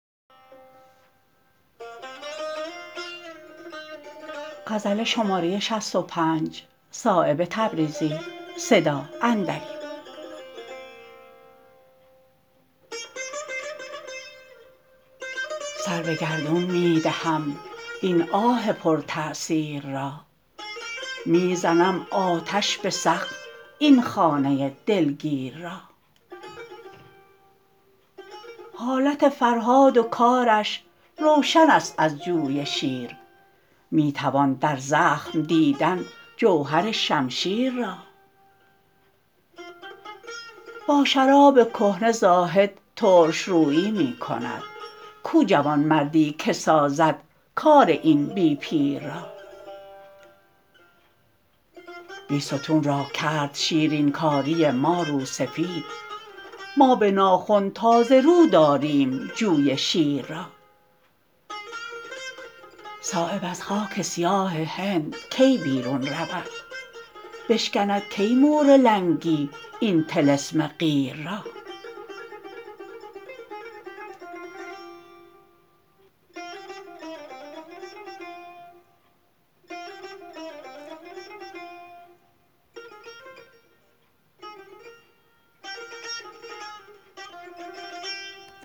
سر به گردون می دهم این آه پر تأثیر را می زنم آتش به سقف این خانه دلگیر را حالت فرهاد و کارش روشن است از جوی شیر می توان در زخم دیدن جوهر شمشیر را با شراب کهنه زاهد ترشرویی می کند کو جوانمردی که سازد کار این بی پیر را بیستون را کرد شیرین کاری ما روسفید ما به ناخن تازه رو داریم جوی شیر را صایب از خاک سیاه هند کی بیرون رود بشکند کی مور لنگی این طلسم قیر را